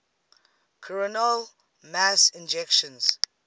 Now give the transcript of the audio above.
coronal mass ejections